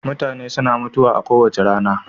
mutane suna mutuwa kowace rana